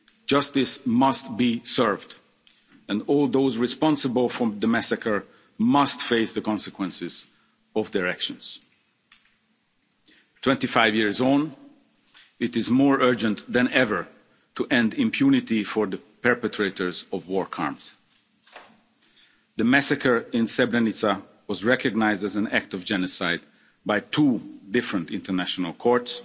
Justice must be served, and all those responsible for the massacre must face the consequences of their actions. Twenty five years on, it is more urgent than ever to end impunity for the perpetrators of war crimes. The massacre in Srebrenica was recognised as an act of genocide by two different international courts